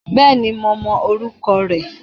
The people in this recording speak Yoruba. Bẹ́ẹ̀ni, mo mọ orúkọ rẹ̀